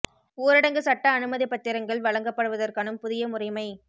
ஊரடங்குச் சட்ட அனுமதிப் பத்திரங்கள் வழங்கப்படுவதற்கான புதிய முறைமை